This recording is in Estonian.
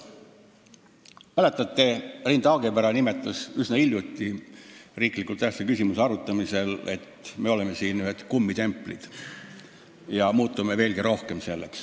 Mäletate, Rein Taagepera nimetas üsna hiljuti riiklikult tähtsa küsimuse arutamisel, et me oleme siin vaid kummitemplid ja muutume selleks veelgi rohkem.